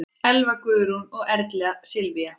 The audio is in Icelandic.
Elva Guðrún og Erla Sylvía.